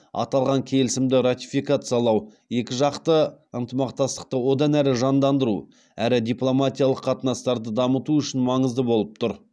аталған келісімді ратификациялау екіжақты ынтымақтастықты одан әрі жандандыру әрі дипломатиялық қатынастарды дамыту үшін маңызды болып тұр